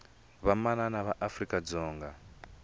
vamanana va afrika dzonga